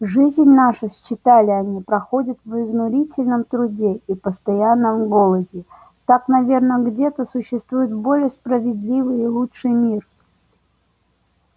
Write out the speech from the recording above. жизнь наша считали они проходит в изнурительном труде и постоянном голоде так наверно где-то существует более справедливый и лучший мир